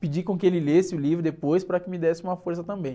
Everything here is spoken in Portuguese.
pedi com que ele lesse o livro depois para que me desse uma força também.